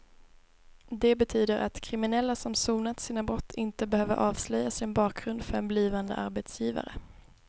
Det betyder att kriminella som sonat sina brott inte behöver avslöja sin bakgrund för en blivande arbetsgivare.